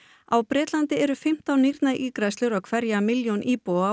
á Bretlandi eru fimmtán nýrnaígræðslur á hverja milljón íbúa